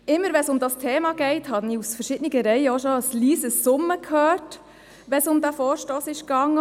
Immer wenn es um dieses Thema geht, habe ich aus verschiedenen Reihen auch schon ein leises Summen gehört – auch wenn es um diesen Vorstoss ging.